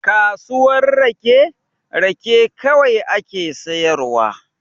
Kasuwar rake, rake kawai ake sayarwa.